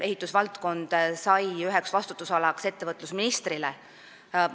Ehitusvaldkond sai üheks ettevõtlusministri vastutusalaks.